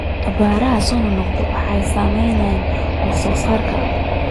Abaaraha soo noqnoqda waxay saameeyaan wax soo saarka.